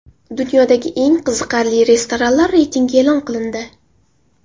Dunyodagi eng qiziqarli restoranlar reytingi e’lon qilindi.